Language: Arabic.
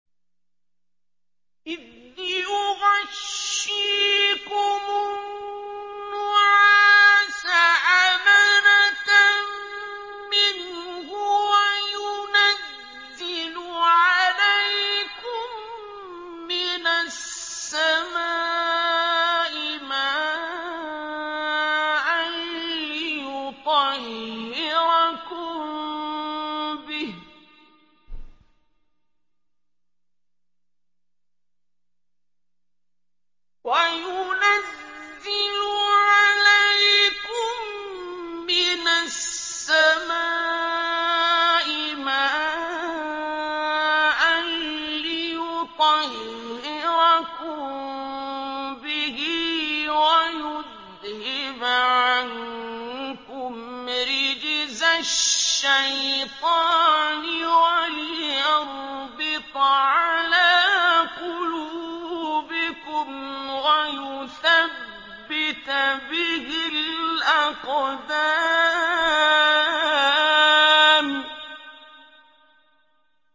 إِذْ يُغَشِّيكُمُ النُّعَاسَ أَمَنَةً مِّنْهُ وَيُنَزِّلُ عَلَيْكُم مِّنَ السَّمَاءِ مَاءً لِّيُطَهِّرَكُم بِهِ وَيُذْهِبَ عَنكُمْ رِجْزَ الشَّيْطَانِ وَلِيَرْبِطَ عَلَىٰ قُلُوبِكُمْ وَيُثَبِّتَ بِهِ الْأَقْدَامَ